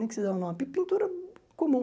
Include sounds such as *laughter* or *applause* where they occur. *unintelligible* dá o nome, pintura comum.